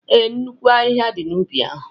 Ee, nnukwu ahịhịa dị n'ubi ahụ